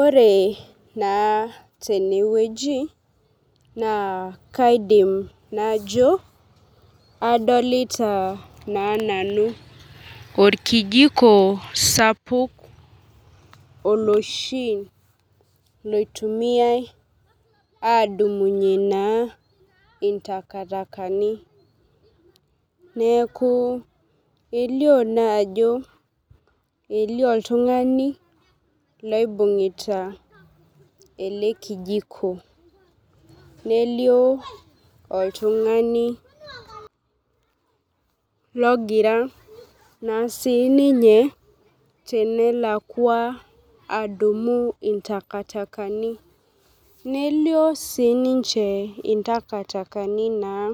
Ore naa teneweji naa kaidim najo adolita naa nanu orkijiko sapuk oloshi loitumia adumunye naa, intaktakani. Neeku elio naa ajoelio oltung'ani loibung'ita ele kijiko, nelio oltung'ani logira naa sii ninye tenalakua adumu intakitakani. Nelio sii ninche intakitakani naa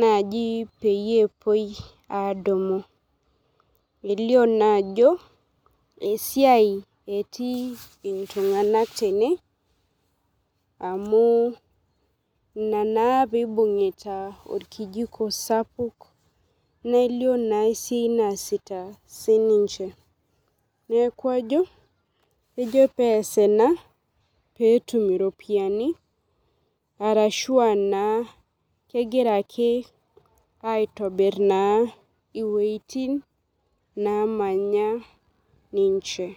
naji peyie epuoi adumu. Elio naa ajo esiai etii iltung'anak tene amu inaa pee ibung'ita orkijiko sapuk nelio naa esiai naasita sii ninche neeku ajo, ejo pee ees ena peetum iropiani arashua naa kegira akeaitobir naa iwetin namanya ninche.